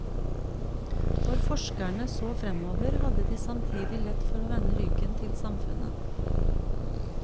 Når forskerne så fremover, hadde de samtidig lett for å vende ryggen til samfunnet.